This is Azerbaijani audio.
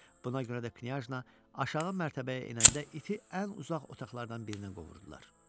Buna görə də Knyajna aşağı mərtəbəyə enəndə iti ən uzaq otaqlardan birinə qovurdular.